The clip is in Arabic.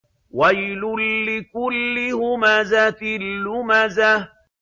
وَيْلٌ لِّكُلِّ هُمَزَةٍ لُّمَزَةٍ